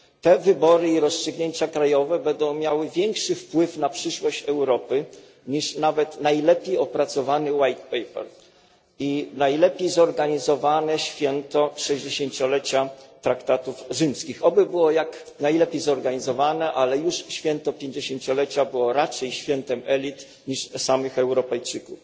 Te wybory i rozstrzygnięcia krajowe będą miały większy wpływ na przyszłość Europy niż nawet najlepiej opracowana biała księga i najlepiej zorganizowane święto 60 lecia traktatów rzymskich oby było jak najlepiej zorganizowane, ale już święto 50 lecia było raczej świętem elit niż samych Europejczyków.